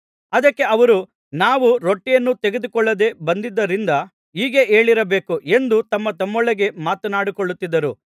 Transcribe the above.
ಅದಕ್ಕೆ ಅವರು ನಾವು ರೊಟ್ಟಿಯನ್ನು ತೆಗೆದುಕೊಳ್ಳದೆ ಬಂದಿದ್ದರಿಂದ ಹೀಗೆ ಹೇಳಿರಬೇಕು ಎಂದು ತಮ್ಮತಮ್ಮೊಳಗೆ ಮಾತನಾಡಿಕೊಳ್ಳುತ್ತಿದ್ದರು